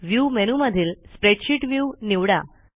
view मेनूमधील spreadsheet view निवडा